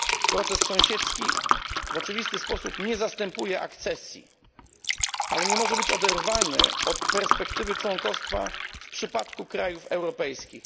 Proces sąsiedzki w oczywisty sposób nie zastępuje akcesji, ale nie może być oderwany od perspektywy członkostwa w przypadku krajów europejskich.